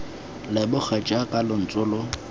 leboga jaaka lo ntse lo